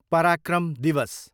पराक्रम दिवस